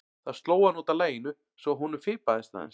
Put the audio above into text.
Það sló hann út af laginu svo að honum fipaðist aðeins.